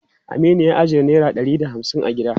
Aminu ya ajiye naira ɗari da hamsin a gida.